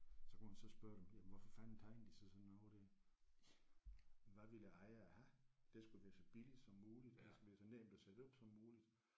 Så kunne man så spørge dem jamen hvorfor fanden tegnede I så sådan noget der. Hvad ville ejeren have? Det skal være så billigt som muligt og det skal være så nemt at sætte op som muligt